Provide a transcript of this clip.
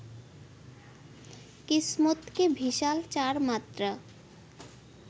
কিসমত কে ভিসাল চার মাত্রা